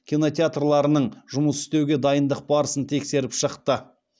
кинотеатрларының жұмыс істеуге дайындық барысын тексеріп шықты